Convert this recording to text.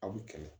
Aw bi kɛlɛ